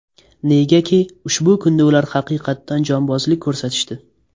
Negaki ushbu kunda ular haqiqatan jonbozlik ko‘rsatishdi.